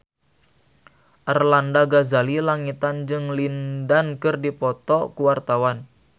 Arlanda Ghazali Langitan jeung Lin Dan keur dipoto ku wartawan